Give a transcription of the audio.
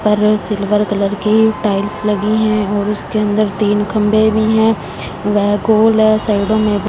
पर silver colour की tiles लगी है और उसके अंदर तीन खम्भे भी है यह कुल साइडो में--